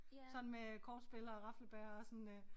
Sådan med kortspil og raflebæger og sådan øh